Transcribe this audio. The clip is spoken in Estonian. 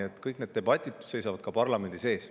Nii et kõik need debatid seisavad ka parlamendil ees.